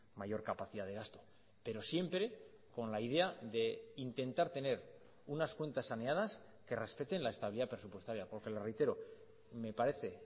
mayor capacidad de gasto pero siempre con la idea de intentar tener unas cuentas saneadas que respeten la estabilidad presupuestaria porque le reitero me parece